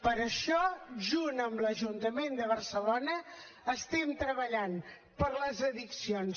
per això junt amb l’ajuntament de barcelona estem treballant per les addiccions